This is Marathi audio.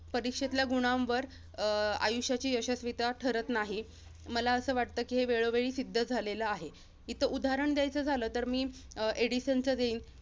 परीक्षेतल्या गुणांवर अं आयुष्याची यशस्विता ठरत नाही. मला अंस वाटतं कि हे वेळोवेळी सिद्ध झालेलं आहे. इथं उदाहरण द्यायचं झालं तर मी, अं एडिसनचं देईन.